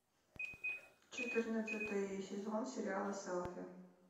четырнадцатый сезон сериала селфи